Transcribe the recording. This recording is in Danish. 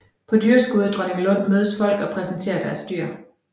På dyrskuet i Dronninglund mødes folk og præsenterer deres dyr